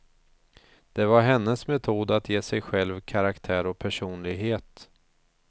Det var hennes metod att ge sig själv karaktär och personlighet.